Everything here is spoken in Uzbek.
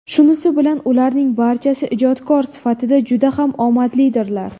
Shunisi bilan ularning barchasi ijodkor sifatida juda ham omadlidirlar.